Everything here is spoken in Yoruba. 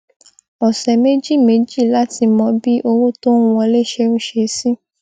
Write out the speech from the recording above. ọsẹ méjì méjì láti mọ bí owó tó ń wọlé ṣe ń ṣe sí